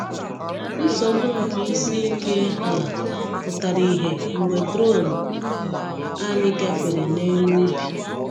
Nsogbu nke isi ike ala pụtara ìhè mgbe drone anyị gafere n’elu ubi.